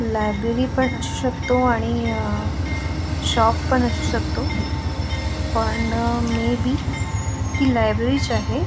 Library पण असू शकतो आणि शॉपपण असू शकतो पण मेबी हि लायब्रेरीच आहे.